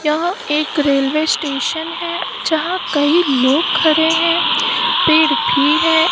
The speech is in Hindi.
यहां एक रेलवे स्टेशन है जहां कई लोग खड़े हैं पेड़ भी है।